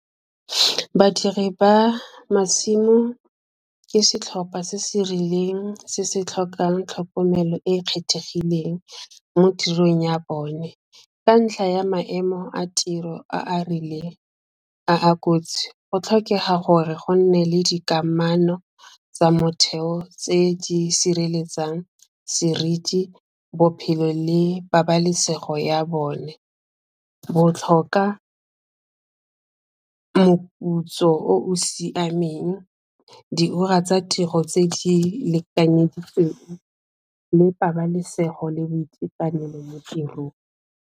Badiri ba masimo ke setlhopha se se rileng se se tlhokang tlhokomelo e e kgethegileng mo tirong ya bone, ka ntlha ya maemo a tiro a rileng a a kotsi, go tlhokega gore go nne le dikamano tsa motheo tse di sireletsang seriti, bophelo le pabalesego ya bone, moputso o siameng, diura tsa tiro tse di lekanyeditsweng, le pabalesego le boitekanelo mo tirong.